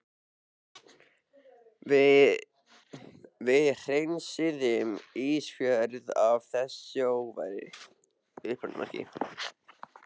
Við hreinsum Ísafjörð af þessari óværu!